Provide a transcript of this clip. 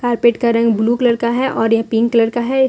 Carpet का रंग blue colour का है और यह पिंक कलर का है।